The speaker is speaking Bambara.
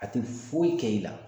A tɛ foyi kɛ i la